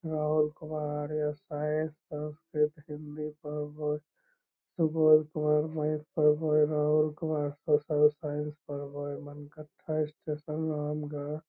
राहुल कुमार यहां साइंस पढवे सिर्फ हिंदी पढ़वे सुबोध कुमार साइंस पढवे हेय राहुल कुमार सोशल साइंस पढवे हेय मनकट्ठा स्टेशन नाम ग ।